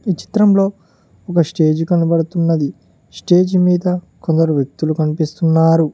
ఈ చిత్రంలో ఒక స్టేజ్ కనబడుతున్నది స్టేజి మీద కొందరు వ్యక్తులు కనిపిస్తున్నారు.